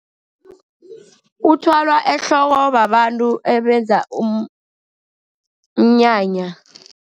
Uthwalwa ehloko babantu ebenza umnyanya.